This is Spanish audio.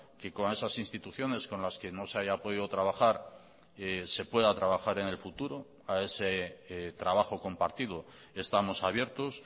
que con esas instituciones con las que no se haya podido trabajar se pueda trabajar en el futuro a ese trabajo compartido estamos abiertos